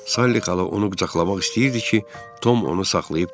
Salli xala onu qucaqlamaq istəyirdi ki, Tom onu saxlayıb dedi.